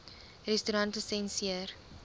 restaurantlisensier